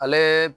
Ale